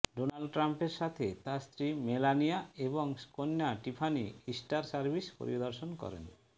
Donald ট্রামের সাথে তার স্ত্রী মেলানিয়া এবং কন্যা টিফানি ইস্টার সার্ভিস পরিদর্শন করেন